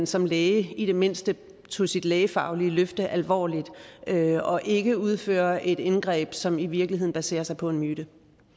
som læge i det mindste tager sit lægefaglige løfte alvorligt og ikke udfører indgreb som i virkeligheden baserer sig på en myte